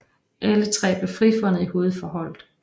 Alle tre blev frifundet i hovedforholdet